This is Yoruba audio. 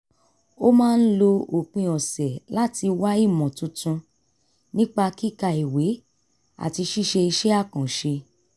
ó máa ń lo òpin ọ̀sẹ̀ láti wá ìmọ̀ tuntun nípa kíka ìwé àti ṣíṣe iṣẹ́ àkànṣe